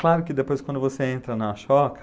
Claro que depois quando você entra na choca...